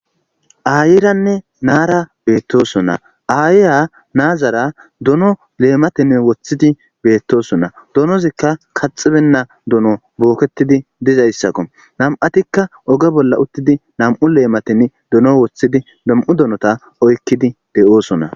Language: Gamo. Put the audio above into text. ayiranne naara beettoson na aayiya naazara dono leematenne woththidi beettosona donozikka kaxibenna dono booketidi dizayssakko nam7atikka oge bolla uttidi nam7u leematin dono woththidi dom7u donota oykkidi de7oosona